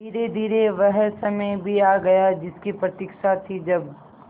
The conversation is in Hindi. धीरेधीरे वह समय भी आ गया जिसकी प्रतिक्षा थी जब